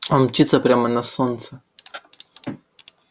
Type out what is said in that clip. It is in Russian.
он мчится прямо на солнце